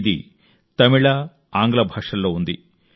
ఇది తమిళ ఆంగ్ల భాషల్లో ఉంది